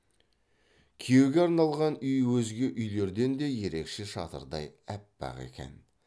күйеуге арналған үй өзге үйлерден де ерекше шатырдай аппақ екен